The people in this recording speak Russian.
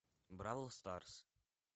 бравл старс